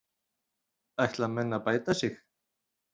ætla menn að bæta sig